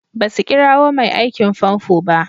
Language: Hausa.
Basu kirowa mai aikin fanfo ba.